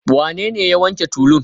Wanene ya wanke tulun?